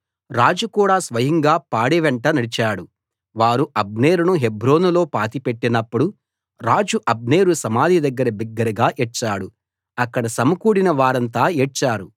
రాజు కూడా స్వయంగా పాడె వెంట నడిచాడు వారు అబ్నేరును హెబ్రోనులో పాతిపెట్టినప్పుడు రాజు అబ్నేరు సమాధి దగ్గర బిగ్గరగా ఏడ్చాడు అక్కడ సమకూడిన వారంతా ఏడ్చారు